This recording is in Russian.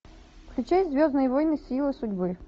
включай звездные войны сила судьбы